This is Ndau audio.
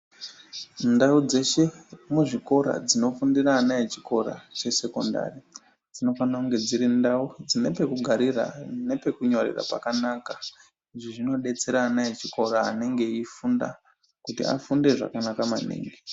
Ndau dzeshe muzvikora dzinofundira vana vechikora dzesekondari dzinofanira kunge dzine ndau dzine pekugarira nepekunyorera pakanaka izvi zvinodetsera vana vechikora vanenge veifunda kuti afunde zvakanaka maningi.